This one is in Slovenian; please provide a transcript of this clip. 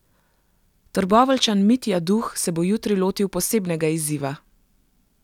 Trboveljčan Mitja Duh se bo jutri lotil posebnega izziva.